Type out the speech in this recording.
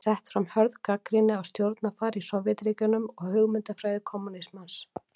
Þar er sett fram hörð gagnrýni á stjórnarfar í Sovétríkjunum og hugmyndafræði kommúnismans.